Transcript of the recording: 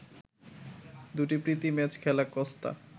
দুটি প্রীতি ম্যাচ খেলা কস্তা